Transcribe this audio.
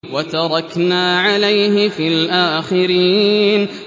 وَتَرَكْنَا عَلَيْهِ فِي الْآخِرِينَ